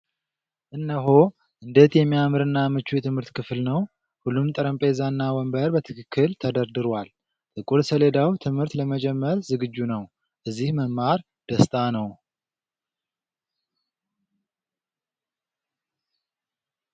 እነሆ! እንዴት የሚያምርና ምቹ የትምህርት ክፍል ነው! ሁሉም ጠረጴዛና ወንበር በትክክል ተደርድሯል! ጥቁር ሰሌዳው ትምህርት ለመጀመር ዝግጁ ነው! እዚህ መማር ደስታ ነው!